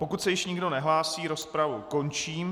Pokud se již nikdo nehlásí, rozpravu končím.